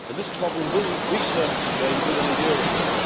This problem will resurface again within a year or so.